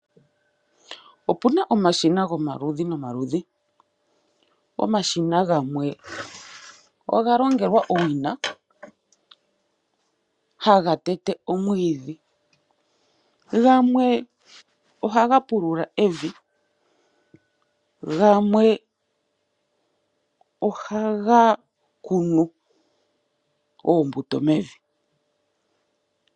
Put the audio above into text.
Opuna omashina gomaludhi, nomaludhi. Omashina gamwe oga longelwa owina ha ga tete omwiidhi, gamwe oha ga pulula evi, gamwe oha ga kunu oombuto mevi.